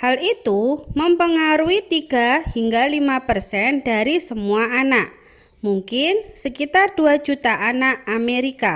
hal itu memengaruhi 3 hingga 5 persen dari semua anak mungkin sekitar 2 juta anak amerika